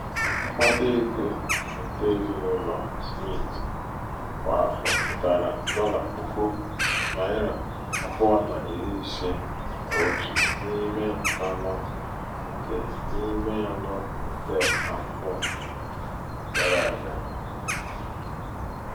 um mkpataego nke ezinaụlọ smith kwa afọ pụtara dọla puku naira abụọ na iri ise n'otu n'ime anọ nke n'ime anọ nke afọ (1/4) gara-aga.